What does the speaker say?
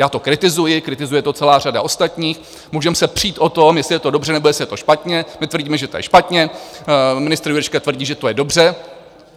Já to kritizuji, kritizuje to celá řada ostatních, můžeme se přít o tom, jestli je to dobře, nebo jestli je to špatně, my tvrdíme, že to je špatně, ministr Jurečka tvrdí, že to je dobře.